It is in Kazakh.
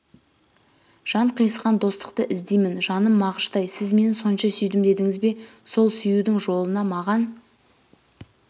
жан қиысқаң достықты іздеймін жаным мағыштай сіз мені сонша сүйдім дедіңіз бе сол сүюдің жолына маған